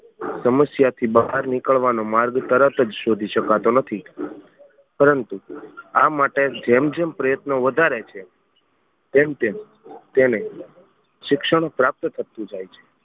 સમસ્યા થી બહાર નીકળવાનો માર્ગ તરત જ શોધી શકતો નથી પરંતુ આ માટે જેમ જેમ પ્રયત્નો વધારે છે તેમ તેમ તેને શિક્ષણ પ્રાપ્ત થતું જાય છે.